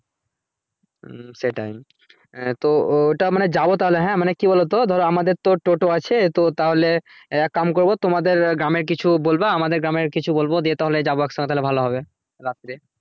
হুম সেটাই তো ও ওটা যাবো তাহলে হ্যা মানে কি বলো তো ধরো আমাদের তো toto আছে তো তাহলে এক কাম করবো তোমাদের গ্রামে কিছু বলবা আমাদের গ্রামের কিছু বলবো নিয়ে যাবো একসাথে ভালো হবে রাত্রে